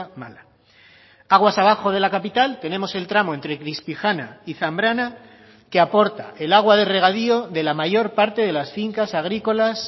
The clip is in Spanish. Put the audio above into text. mala aguas abajo de la capital tenemos el tramo entre crispijana y zambrana que aporta el agua de regadío de la mayor parte de las fincas agrícolas